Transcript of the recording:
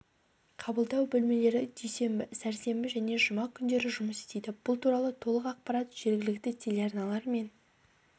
қабылдау бөлмелері дүйсенбі сәрсенбі және жұма күндері жұмыс істейді бұл туралы толық ақпарат жергілікті телеарналар мен